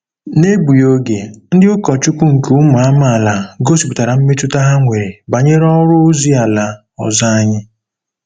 N'egbughị oge, ndị ụkọchukwu nke ụmụ amaala gosipụtara mmetụta ha nwere banyere ọrụ ozi ala ọzọ anyị.